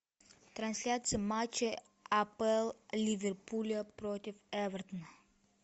трансляция матча апл ливерпуля против эвертона